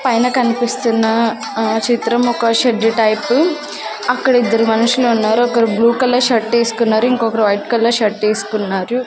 పైన కన్పిస్తున్న ఆ చిత్రం ఒక షెడ్డు టైపు అక్కడిద్దరు మనుషులు ఉన్నారు ఒకరు బ్లూ కలర్ షర్ట్ ఏస్కున్నారు ఇంకొకరు వైట్ కలర్ షర్ట్ ఏస్కున్నారు.